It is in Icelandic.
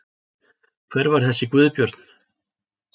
Hver var þessi Guðbjörn?